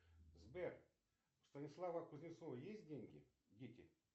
сбер у станислава кузнецова есть деньги дети